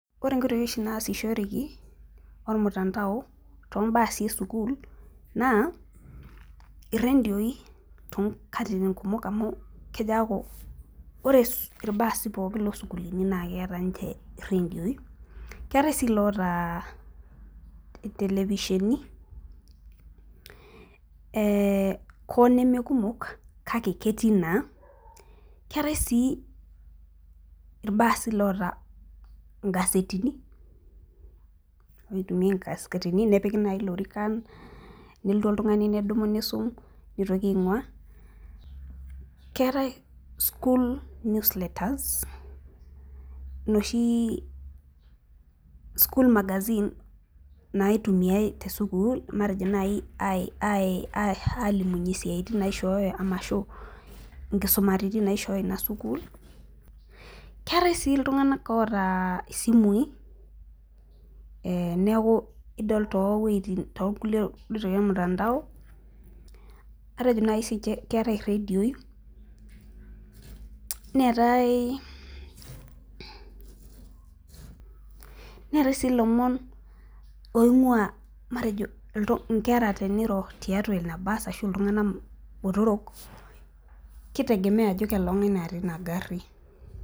Kore inkoitoi oshi naasishoreki too imbaasi e sukuul, naa irendioi, too nkatitin kumok amu, keaku ore ilbaasi pooki le sukuulini naa keata ninche iredioi, keatai sii loata intelevisheni, oo nemee kumok, kake ketii naa keatai sii ilbaasi oata ingasetini, neitumiai ingasetini nepiki naa ilorikan nelotu oltung'sani nedumu neisum, neitoki aing'waa. Keata school news letters nooshi school magazine naitumiai te sukuul matejo naai alimunye isiatin naaishooyo arashu sii inkisumaritin naishooyo ina sukuul. Keatai sii iltung'anak oata isimui neaku idol too iwueitin naijo olmutandao, atejo naaji ii ninche keatai iredioi neatai sii ilomon matejo oing'waa inkera teneiro ana iltung'anak botoro, keitegemea ajo kang'ai eatai teina aari.